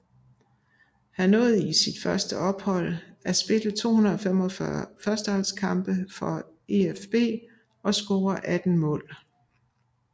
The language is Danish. Han nåede i første ophold at spille 245 førsteholdskampe for EfB og score 18 mål